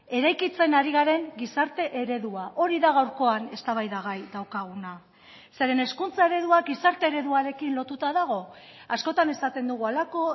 eraikitzen ari garen gizarte eredua hori da gaurkoan eztabaidagai daukaguna zeren hezkuntza ereduak gizarte ereduarekin lotuta dago askotan esaten dugu halako